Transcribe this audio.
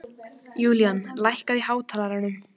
Julian, lækkaðu í hátalaranum.